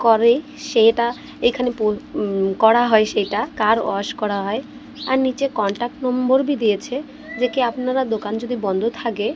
করে সেটা এখানে পো উঁম করা হয় সেটা কার ওয়াশ করা হয় আর নীচে কন্টাক্ট নম্বর -ভি দিয়েছে যেকি আপনারা দোকান যদি বন্ধ থাকে--